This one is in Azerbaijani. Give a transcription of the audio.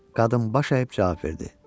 Qadın baş əyib cavab verdi: